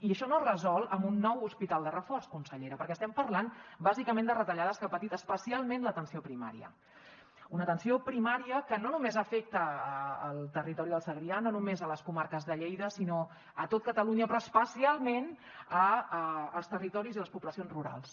i això no es resol amb un nou hospital de reforç consellera perquè estem parlant bàsicament de retallades que ha patit especialment l’atenció primària una atenció primària que no només afecta el territori del segrià no només les comarques de lleida sinó tot catalunya però especialment els territoris i les poblacions rurals